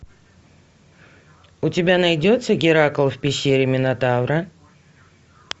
у тебя найдется геракл в пещере минотавра